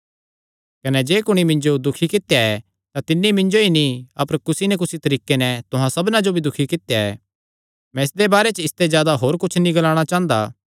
कने जे कुणी मिन्जो दुखी कित्या ऐ तां तिन्नी मिन्जो ई नीं अपर कुसी नीं कुसी तरीके नैं तुहां सबना जो दुखी कित्या ऐ मैं इसदे बारे च इसते जादा होर कुच्छ नीं ग्लाणा चांह़दा